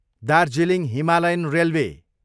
Darjeeling Himalayan railway